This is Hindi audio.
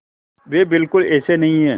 वे बिल्कुल ऐसे नहीं हैं